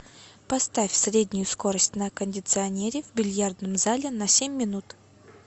поставь среднюю скорость на кондиционере в бильярдном зале на семь минут